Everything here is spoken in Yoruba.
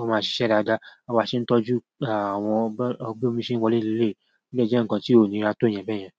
wọn máa ṣiṣẹ́ dáadáa. A máa ṣe ń tọ́jú àwọn bi omi ṣe ń wọ léléyi, o dé jẹ́ ǹkan tí ó níra tó yẹn bẹ́yẹn.